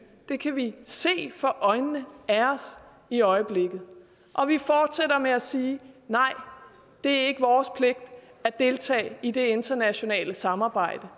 det kan vi se for øjnene af os i øjeblikket og vi fortsætter med at sige nej det er ikke vores pligt at deltage i det internationale samarbejde